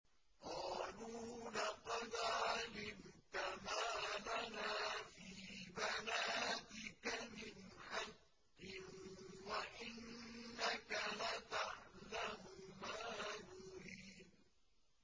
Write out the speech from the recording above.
قَالُوا لَقَدْ عَلِمْتَ مَا لَنَا فِي بَنَاتِكَ مِنْ حَقٍّ وَإِنَّكَ لَتَعْلَمُ مَا نُرِيدُ